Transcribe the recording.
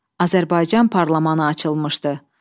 Azərbaycan parlamentı açılmışdı.